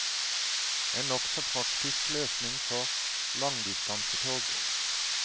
En nokså praktisk løsning for langdistansetog.